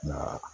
Nka